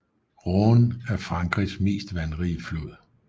Rhône er Frankrigs mest vandrige flod